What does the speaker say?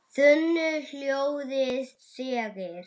þunnu hljóði þegir